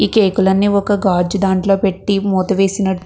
ఈ కేకులన్నీ ఒక గాజు దాంట్లో పెట్టి మూత వేసిన --